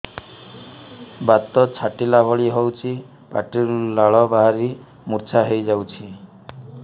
ବାତ ଛାଟିଲା ଭଳି ହଉଚି ପାଟିରୁ ଲାଳ ବାହାରି ମୁର୍ଚ୍ଛା ହେଇଯାଉଛି